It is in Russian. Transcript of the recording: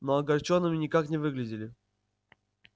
но огорчёнными никак не выглядели